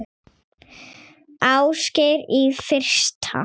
Ásgeir: Í fyrsta?